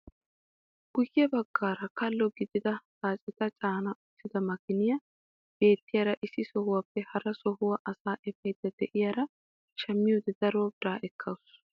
Guye baggaara kallo gidida xaaceta caana uttida maakiniyaa beettiyaara issi sohuwaappe hara sohuwaa asaa efaydda de'iyaara shammiyoode daro biraa ekkawus.